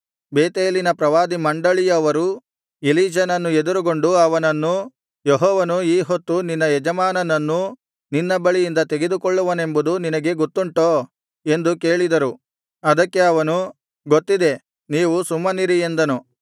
ಬೇತೇಲಿನ ಪ್ರವಾದಿ ಮಂಡಳಿಯವರು ಎಲೀಷನನ್ನು ಎದುರುಗೊಂಡು ಅವನನ್ನು ಯೆಹೋವನು ಈ ಹೊತ್ತು ನಿನ್ನ ಯಜಮಾನನನ್ನು ನಿನ್ನ ಬಳಿಯಿಂದ ತೆಗೆದುಕೊಳ್ಳುವನೆಂಬುದು ನಿನಗೆ ಗೊತ್ತುಂಟೋ ಎಂದು ಕೇಳಿದರು ಅದಕ್ಕೆ ಅವನು ಗೊತ್ತಿದೆ ನೀವು ಸುಮ್ಮನಿರಿ ಎಂದನು